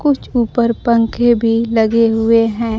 कुछ ऊपर पंखे भी लगे हुए हैं।